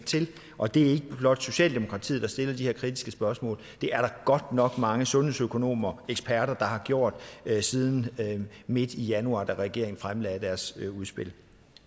og det er ikke blot socialdemokratiet der stiller de her kritiske spørgsmål det er der godt nok også mange sundhedsøkonomer og eksperter der har gjort siden midt i januar da regeringen fremlagde deres udspil